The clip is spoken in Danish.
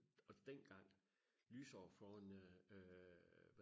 og dengang lysår foran øh